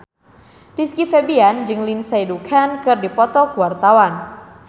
Rizky Febian jeung Lindsay Ducan keur dipoto ku wartawan